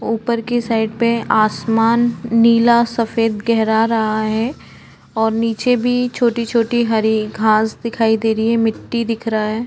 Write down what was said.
ऊपर की साइड पे आसमान नीला सफ़ेद गेहरा रहा है और निचे भी छोटी-छोटी हरी घांस दिखाई दे रही हैं मिट्टी दिख रहा है।